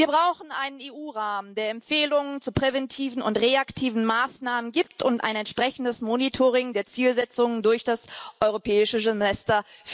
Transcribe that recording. Wir brauchen einen EU Rahmen, der Empfehlungen zu präventiven und reaktiven Maßnahmen gibt, und ein entsprechendes Monitoring der Zielsetzungen durch das Europäische Semester.